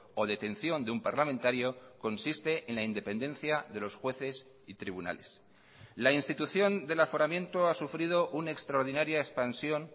o detención de un parlamentario consiste en la independencia de los jueces y tribunales la institución del aforamiento ha sufrido una extraordinaria expansión